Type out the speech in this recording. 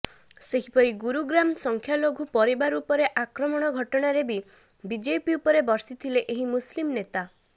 ସେହିପରି ଗୁରୁଗ୍ରାମ ସଂଖ୍ୟାଲଘୁ ପରିବାର ଉପରେ ଆକ୍ରମଣ ଘଟଣାରେ ବି ବିଜେପି ଉପରେ ବର୍ଷିଥିଲେ ଏହି ମୁସଲିମ୍ ନେତା